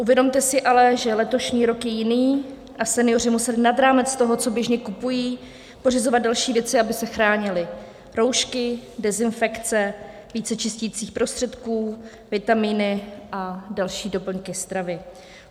Uvědomte si ale, že letošní rok je jiný a senioři museli nad rámec toho, co běžně kupují, pořizovat další věci, aby se chránili - roušky, dezinfekce, více čisticích prostředků, vitamíny a další doplňky stravy.